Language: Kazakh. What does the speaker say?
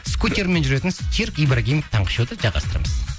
скутермен жүретін серік ибрагимов таңғы шоуды жалғастырамыз